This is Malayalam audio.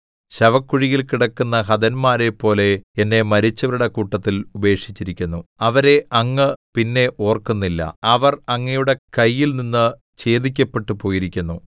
ശവക്കുഴിയിൽ കിടക്കുന്ന ഹതന്മാരെപ്പോലെ എന്നെ മരിച്ചവരുടെ കൂട്ടത്തിൽ ഉപേക്ഷിച്ചിരിക്കുന്നു അവരെ അങ്ങ് പിന്നെ ഓർക്കുന്നില്ല അവർ അങ്ങയുടെ കൈയിൽനിന്ന് ഛേദിക്കപ്പെട്ടുപോയിരിക്കുന്നു